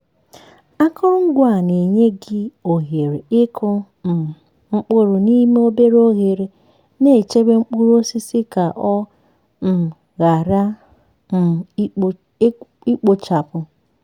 akụrụngwa a na-enye gị ohere ịkụ um mkpụrụ n'ime obere oghere na-echebe mkpụrụ osisi ka ọ um ghara um ikpochapụ.